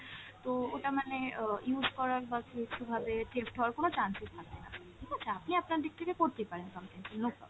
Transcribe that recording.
তো ওটা মানে অ use করার বা কিছুভাবে হওয়ার কোন chance ই থাকেনা ঠিক আছে, আপনি আপনার দিকে থেকে করতেই পারেন complain, no problem।